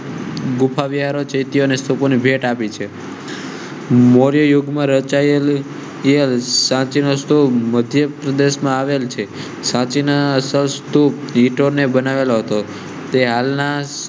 ગુફા વિહાર ભેટ આપેલ છે મૌર્ય યુગમાં રચાયેલ સાથે નાસ્તો મધ્ય પ્રદેશ માં આવેલ છે. સચિન ના સ્વાસ્થ્ય ને બનાવેલો તો હાલ ના સ્તૂપ